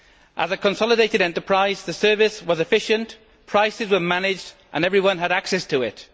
As a consolidated enterprise, the service was efficient, prices were managed and everyone had access to it.